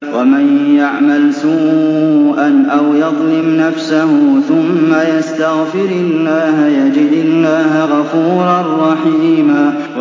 وَمَن يَعْمَلْ سُوءًا أَوْ يَظْلِمْ نَفْسَهُ ثُمَّ يَسْتَغْفِرِ اللَّهَ يَجِدِ اللَّهَ غَفُورًا رَّحِيمًا